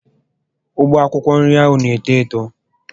Ugbo akwụkwọ nri ahụ na eto Eto